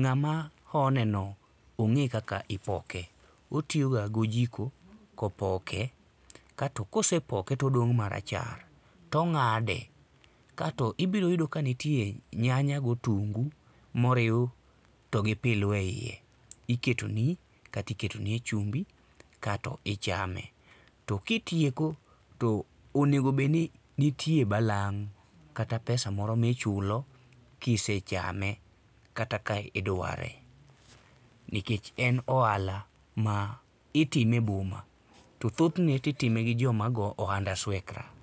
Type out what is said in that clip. ng'ama honeno ong'e kaka ipoke. Otiyoga gi ojiko kopoke kato ka osepoke to odong' marachar, tong'ade kaeto ibiro yudo ka nitie nyanya gotungu moriw togi pilu eiye. Iketoni kato iketonie chumbi kato ichame. To kitieko to onego bed ni nitie balang' kata pesa moro ma ichulo ka isechame kata ka idware nikech en ohala maitime e boma to thothne to itime gi joma go ohand aswekra.